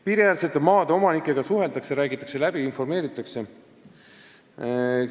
" Piiriäärsete maade omanikega suheldakse, räägitakse läbi, informeeritakse neid.